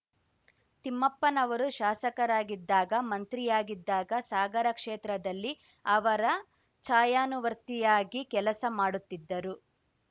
ತಿಮ್ಮಪ್ಪನವರು ಶಾಸಕರಾಗಿದ್ದಾಗ ಮಂತ್ರಿಯಾಗಿದ್ದಾಗ ಸಾಗರ ಕ್ಷೇತ್ರದಲ್ಲಿ ಅವರ ಛಾಯಾನುವರ್ತಿಯಾಗಿ ಕೆಲಸ ಮಾಡುತ್ತಿದ್ದರು